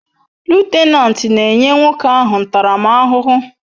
Lutenanti n'enye nwokoahu ntaram ahuhu